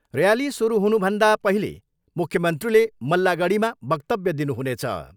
Rally सुरु हुनुभन्दा पहिले मुख्यमन्त्रीले मल्लागढीमा वक्तव्य दिनुहुनेछ।